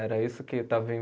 Era isso que estava em